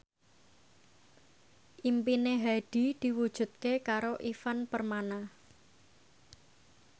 impine Hadi diwujudke karo Ivan Permana